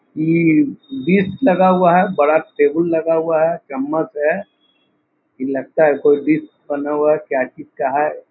ई dish लगा हुआ है बड़ा टेबुल लगा हुआ है चम्मच है ई लगता है कोई डिश बना हुआ है क्या चीज़ का है।